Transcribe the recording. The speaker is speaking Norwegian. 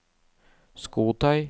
skotøy